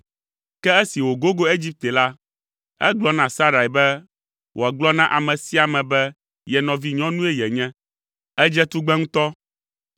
Ke esi wògogo Egipte la, egblɔ na Sarai be wòagblɔ na ame sia ame be ye nɔvinyɔnue yenye! “Èdze tugbe ŋutɔ.